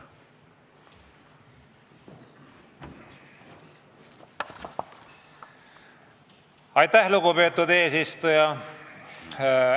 Aitäh, lugupeetud eesistuja!